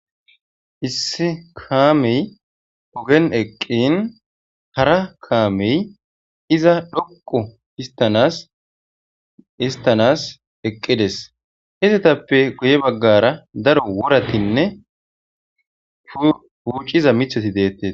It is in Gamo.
issi kaamey ogen eqqin hara kaamey iza dhoqu istanas istanas eqqides hizatappe guye baggara daro woratinne fuucciza mithati deettee